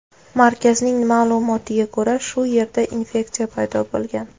Markazning ma’lumotiga ko‘ra, shu yerda infeksiya paydo bo‘lgan.